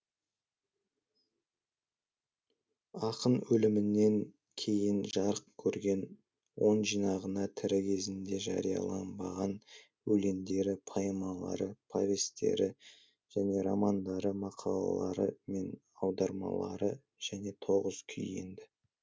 ақын өлімінен кейін жарық көрген он жинағына тірі кезінде жарияланбаған өлеңдері поэмалары повестері және романдары мақалалары мен аудармалары және тоғыз күй енді